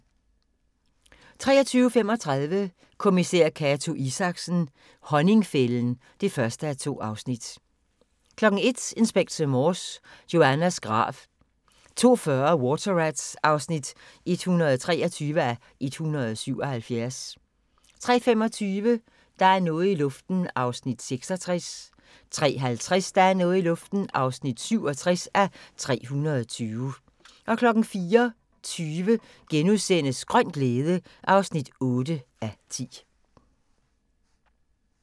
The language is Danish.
23:35: Kommissær Cato Isaksen: Honningfælden (1:2) 01:00: Inspector Morse: Joannas grav 02:40: Water Rats (123:177) 03:25: Der er noget i luften (66:320) 03:50: Der er noget i luften (67:320) 04:20: Grøn glæde (8:10)*